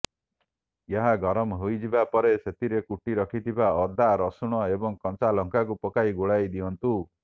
ଏହା ଗରମ ହୋଇଯିବା ପରେ ସେଥିରେ କୁଟି ରଖିଥିବା ଅଦା ରସୁଣ ଏବଂ କଞ୍ଚାଲଙ୍କାକୁ ପକାଇ ଗୋଳାଇ ଦିଅନ୍ତୁ